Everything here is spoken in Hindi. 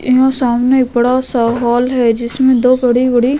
यहा सामने एक बड़ा सा हॉल हैं जिसमे दो बड़ी बड़ी --